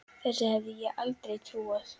Þessu hefði ég aldrei trúað.